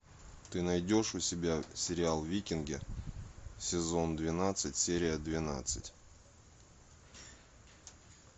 ты найдешь у себя сериал викинги сезон двенадцать серия двенадцать